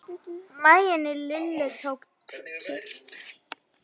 Maginn í Lillu tók kipp.